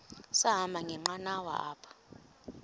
sahamba ngenqanawa apha